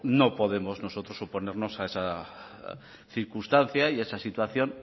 no podemos nosotros oponernos a esa circunstancia y a esa situación